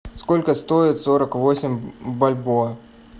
сколько стоит сорок восемь бальбоа